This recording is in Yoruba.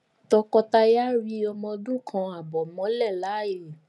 tọkọtaya ri ọmọ ọdún kan ààbọ mọlẹ láàyè